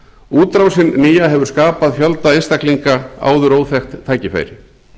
útrásin nýja hefur skapað fjölda einstaklinga áður óþekkt tækifæri